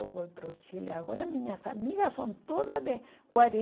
Eu vou para o Chile agora, minhas amigas são todas de quarenta.